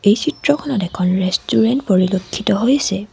এই চিত্ৰখনত এখন ৰেষ্টুৰেণ্ট পৰিলক্ষীত হৈছে।